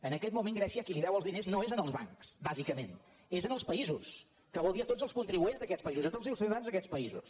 en aquest moment grècia a qui deu els diners no és als bancs bàsicament és als països que vol dir a tots els contribuents d’aquests països a tots els ciutadans d’aquests països